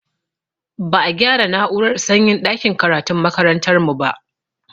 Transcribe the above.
Ba a gyara na'urar sanyin ɗakin karatun makarantar mu ba